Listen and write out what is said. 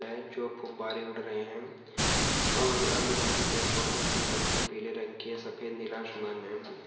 जो फूब्बारे उड़ रहे हे और अगल बगल पेड़ पौधे हरी पत्ती पीले रंग की हे सफेद नीला समान हे।